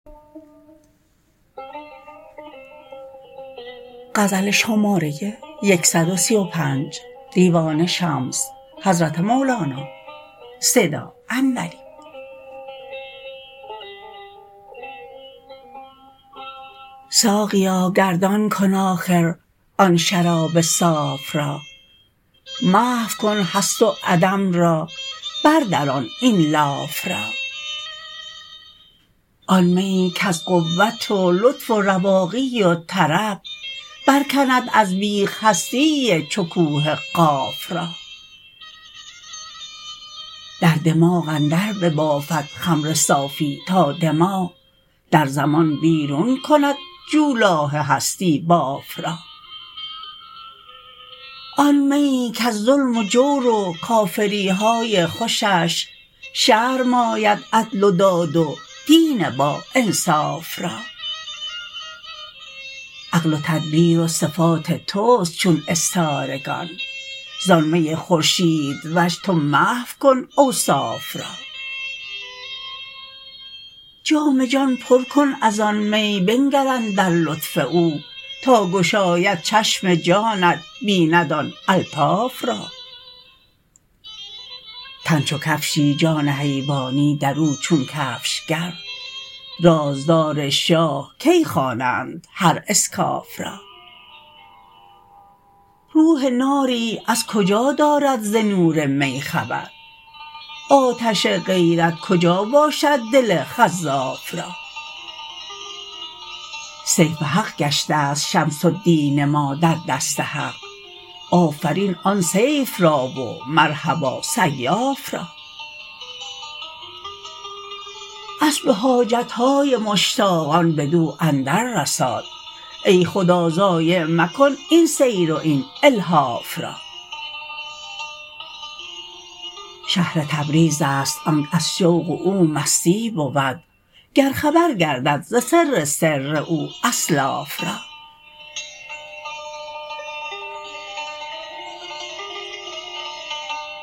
ساقیا گردان کن آخر آن شراب صاف را محو کن هست و عدم را بردران این لاف را آن میی کز قوت و لطف و رواقی و طرب برکند از بیخ هستی چو کوه قاف را در دماغ اندر ببافد خمر صافی تا دماغ در زمان بیرون کند جولاه هستی باف را آن میی کز ظلم و جور و کافری های خوشش شرم آید عدل و داد و دین باانصاف را عقل و تدبیر و صفات تست چون استارگان زان می خورشیدوش تو محو کن اوصاف را جام جان پر کن از آن می بنگر اندر لطف او تا گشاید چشم جانت بیند آن الطاف را تن چو کفشی جان حیوانی در او چون کفشگر رازدار شاه کی خوانند هر اسکاف را روح ناری از کجا دارد ز نور می خبر آتش غیرت کجا باشد دل خزاف را سیف حق گشتست شمس الدین ما در دست حق آفرین آن سیف را و مرحبا سیاف را اسب حاجت های مشتاقان بدو اندر رساد ای خدا ضایع مکن این سیر و این الحاف را شهر تبریزست آنک از شوق او مستی بود گر خبر گردد ز سر سر او اسلاف را